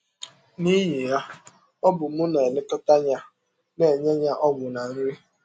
N’ihi ya, ọ bụ m na - elekọta ya, na - enye ya ọgwụ na nri.